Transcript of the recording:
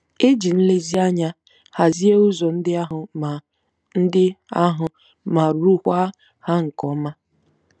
E ji nlezianya hazie ụzọ ndị ahụ ma ndị ahụ ma rụọkwa ya nke ọma.